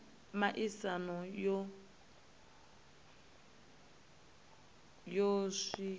ndeme kha miaisano ya zwiko